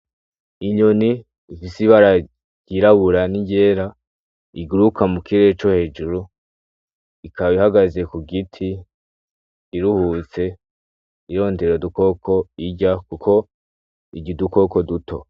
Inyoni mfise ibaragirabura n'iyera iguruka mu kire co hejuru ikab ihagaze ku giti iruhutse ironderera dukoko irya, kuko iga idukoko duto.